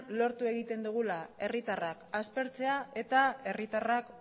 lortu egiten dugula herritarrak aspertzea eta herritarrak